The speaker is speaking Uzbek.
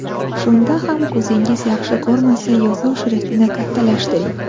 Shunda ham ko‘zingiz yaxshi ko‘rmasa, yozuv shriftini kattalashtiring.